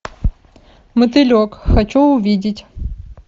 мотылек хочу увидеть